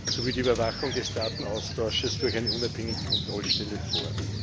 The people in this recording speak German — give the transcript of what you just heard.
sowie die Überwachung des Datenaustauschs durch eine unabhängige Kontrollstelle vor.